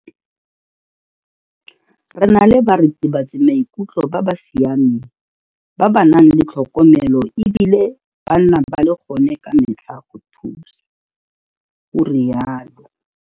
Re na le baritibatsamaikutlo ba ba siameng ba ba nang le tlhokomelo e bile ba nna ba le gone ka metlha go thusa, o rialo.